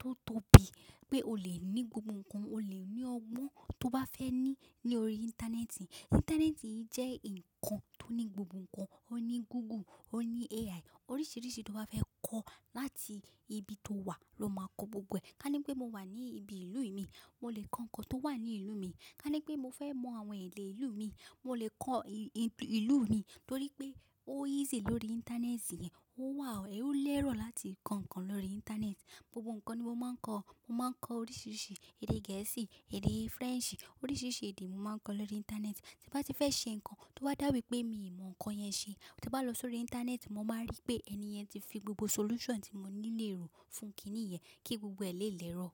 tó tóbi pé o lè ní gbogbo nǹkan, o lè ní ọgbọ́n tó bá fẹ́ ní ní orí Íńtánẹ́ẹ̀tì. Íńtánẹ́ẹ̀tì jẹ́ nǹkan tó ní gbogbo nǹkan, ó ní Google, ó ní AI. Oríṣiríṣi tó bá fẹ́ kọ láti ibi tóo wà ló máa kọ́ gbogbo ẹ̀. Ká ní pé mo wà ní ibi ìlú mi, mo lè kọ́ nǹkan tó wà ní ìlú mi. Ká ní pé mo fẹ́ mọ àwọn èdè ìlú míì, mo lè kọ ìlú mi torí pé ó easy lórí Íńtánẹ́ẹ̀tì yẹn, ó wà, ó lẹ́rọ̀ láti kọ́ nǹkan lórí Íńtánẹ́ẹ̀tì. Gbogbo nǹkan ni mo máa ń kọ́, mo máa ń kọ́ oríṣiríṣi èdè gẹ̀ẹ́sì, èdè french, oríṣiríṣi èdè mo máa ń kọ́ lórí Íńtánẹ́ẹ̀tì. Tí n bá ti fẹ́ ṣe nǹkan tó bá dàwí pé mi ò mọ nǹkan yẹn ṣe, tí n bá lọ s'órí Íńtánẹ́ẹ̀tì mo máa ń ríi pé ẹnì yẹn ti fi gbogbo solution tí mo nílò fún kíníyẹn kí gbogbo ẹ̀ lè l'ẹ́rọ̀.